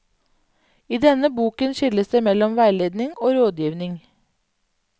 I denne boken skilles det mellom veiledning og rådgivning.